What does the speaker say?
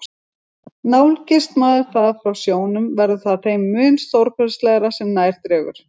Nálgist maður það frá sjónum, verður það þeim mun stórkostlegra sem nær dregur.